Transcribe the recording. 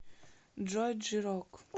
джой джи рок